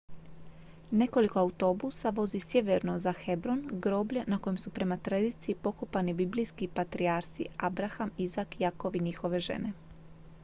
nekoliko autobusa vozi sjeverno za hebron groblje na kojem su prema tradiciji pokopani biblijski patrijarsi abraham izak jakov i njihove žene